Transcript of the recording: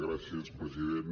gràcies president